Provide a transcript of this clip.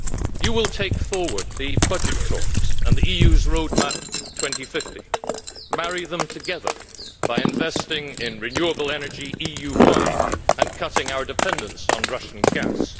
You will take forward the budget talks and the EU's Road Map 2050 marry them together by investing in renewable energy EU wide and cutting our dependence on Russian gas.